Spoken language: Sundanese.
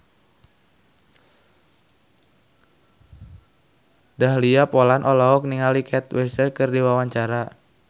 Dahlia Poland olohok ningali Kate Winslet keur diwawancara